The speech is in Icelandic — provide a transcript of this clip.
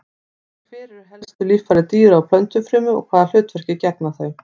Hver eru helstu líffæri dýra- og plöntufrumu og hvaða hlutverki gegna þau?